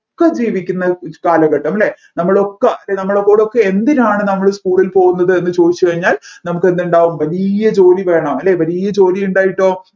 ഒക്കെ ജീവിക്കുന്ന ഒരു കാലഘട്ടം അല്ലെ നമ്മളൊക്കെ അല്ല നമ്മളോടൊക്കെ എന്തിനാണ് നമ്മൾ school ൽ പോവുന്നത് എന്ന് ചോദിച്ച് കഴിഞ്ഞാൽ നമ്മക്കെന്തുണ്ടാവും വലിയ ജോലി വേണം അല്ലെ വലിയാ ജോലിയുണ്ടായിട്ടോ